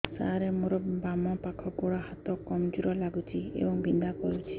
ସାର ମୋର ବାମ ପାଖ ଗୋଡ ହାତ କମଜୁର ଲାଗୁଛି ଏବଂ ବିନ୍ଧା କରୁଛି